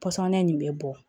Pɔsɔni nin bɛ bɔ